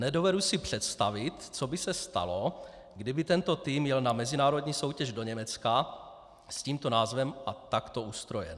Nedovedu si představit, co by se stalo, kdyby tento tým jel na mezinárodní soutěž do Německa s tímto názvem a takto ustrojen.